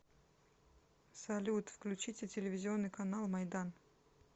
салют включите телевизионный канал майдан